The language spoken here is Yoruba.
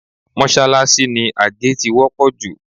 Mọ́ṣáláṣí ni àgé ti wọ́pọ̀ jù